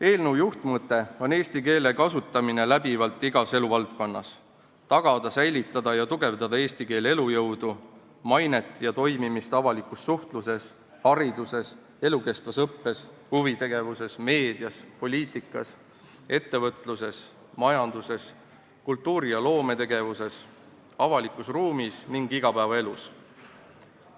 Eelnõu juhtmõte on eesti keele läbiv kasutamine igas eluvaldkonnas, et tagada, säilitada ja tugevdada eesti keele elujõudu, mainet ja toimimist avalikus suhtluses, hariduses, elukestvas õppes, huvitegevuses, meedias, poliitikas, ettevõtluses, majanduses, kultuuri- ja loometegevuses, avalikus ruumis ning igapäevaelus.